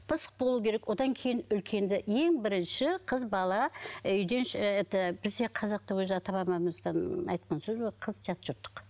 пысық болуы керек одан кейін үлкенді ең бірінші қыз бала үйден ыыы это бізде қазақта өзі ата бабамыздан айтқан сөзі бар ғой қыз жат жұрттық